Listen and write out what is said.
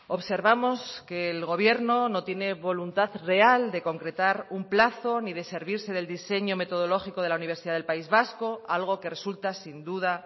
observamos que el gobierno no tiene voluntad real de concretar un plazo ni de servirse del diseño metodológico de la universidad del país vasco algo que resulta sin duda